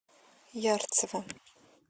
ярцево